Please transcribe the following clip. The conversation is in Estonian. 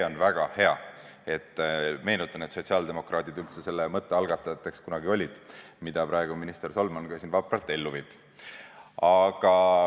On väga hea, meenutan, et sotsiaaldemokraadid selle mõtte üldse kunagi algatasid, mida praegu minister Solman siin vapralt ellu viib.